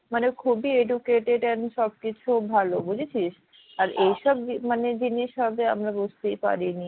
মানে খুবই educated and সব কিছু ভালো বুঝেছিস আর এইসব মানে জিনিস হবে আমরা বুঝতেই পারিনি।